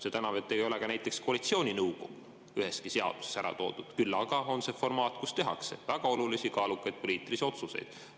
Seda enam, et ka näiteks koalitsiooninõukogu ei ole üheski seaduses ära toodud, küll aga on see formaat, kus tehakse väga olulisi kaalukaid poliitilisi otsuseid.